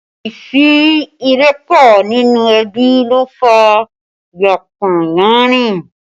Àìsí ìrẹ́pọ̀ nínú ẹbí ló fà yánpọnyánrin